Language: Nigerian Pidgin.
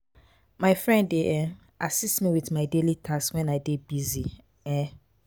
my friend dey um assist me with my daily tasks when i dey busy. um